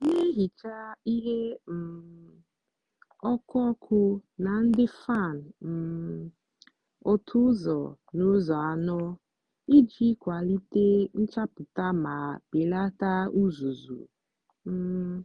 na-ehicha ihe um ọkụ ọkụ na ndị fan um otu ụzọ n'ụzọ anọ iji kwalite nchapụta ma belata uzuzu. um